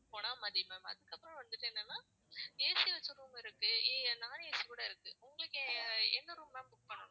ma'am அதுக்கப்புறம் வந்துட்டு என்னன்னா AC வச்ச room இருக்கு non AC கூட இருக்கு. உங்களுக்கு எந்த room ma'am book பண்ணணும்.